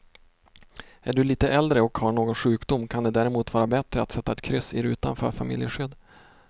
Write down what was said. Är du lite äldre och har någon sjukdom kan det därmot vara bättre att sätta ett kryss i rutan för familjeskydd.